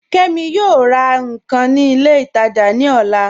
Kẹmi yọọ rà nkan ni ilẹ̀ itaajà ni ọ̀là